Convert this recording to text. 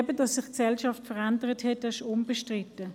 Dass sich die Gesellschaft verändert hat, ist unbestritten.